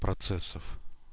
процессов